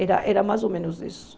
Era era mais ou menos isso.